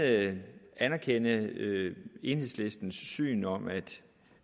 anerkende enhedslistens synspunkt om at